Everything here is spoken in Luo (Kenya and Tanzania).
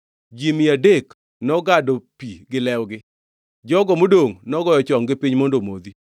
Ji mia adek nogado pi gi lwetgi. Jogo modongʼ nogoyo chonggi piny mondo gimodhi.